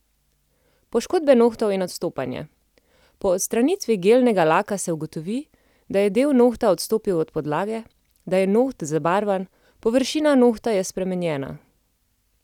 Poškodbe nohtov in odstopanje: "Po odstranitvi gelnega laka se ugotovi, da je del nohta odstopil od podlage, da je noht zabarvan, površina nohta je spremenjena.